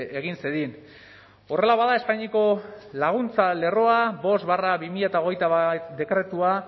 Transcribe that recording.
egin zedin horrela bada espainiako laguntza lerroa bost barra bi mila hogeita bat dekretua